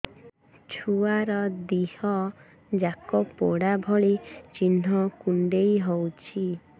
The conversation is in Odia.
ଛୁଆର ଦିହ ଯାକ ପୋଡା ଭଳି ଚି଼ହ୍ନ କୁଣ୍ଡେଇ ହଉଛି